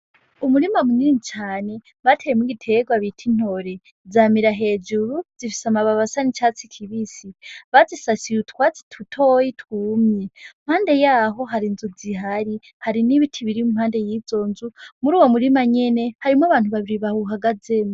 Umurima munini cane bateyemwo igitegwa bita intore, zamira hejuru, zifise amababi asa n'icatsi kibisi, bazisasiye utwatsi dutoyi twumye, impande yaho hari inzu zihari, hari n'ibiti biri impande y'izo nzu, muri uwo murima nyene harimwo abantu babiri bawuhagazemwo.